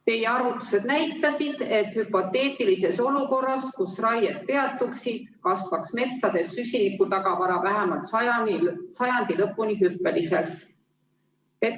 Teie arvutused näitasid, et hüpoteetilises olukorras, kus raie peatuks, kasvaks metsades süsiniku tagavara vähemalt sajandi lõpuni hüppeliselt.